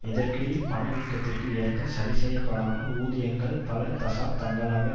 இதற்கிடையில் பணவீக்கத்திற்கு ஏற்ப சரிசெய்யப்படாமல் ஊதியங்கள் பல தசாப் தங்களாக